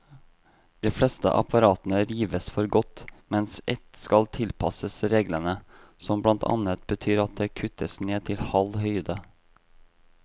De fleste apparatene rives for godt, mens ett skal tilpasses reglene, som blant annet betyr at det kuttes ned til halv høyde.